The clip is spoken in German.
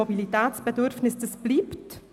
Das Bedürfnis nach Mobilität bleibt.